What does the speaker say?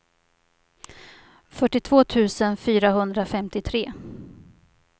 fyrtiotvå tusen fyrahundrafemtiotre